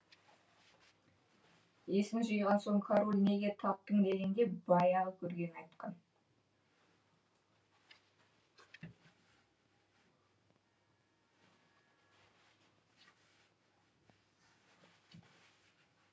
есін жиған соң король неге талдың дегенде баяғы көргенін айтқан